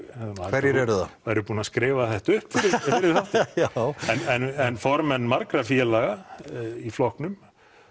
hverjir eru það værir búinn að skrifa þetta upp fyrir þáttinn en formenn margra félaga í flokknum